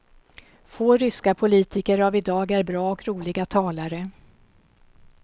Få ryska politiker av i dag är bra och roliga talare.